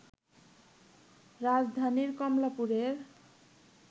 রাজধানীর কমলাপুরের